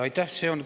Aitäh!